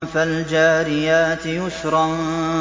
فَالْجَارِيَاتِ يُسْرًا